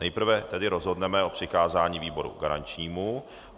Nejprve tedy rozhodneme o přikázání výboru garančnímu.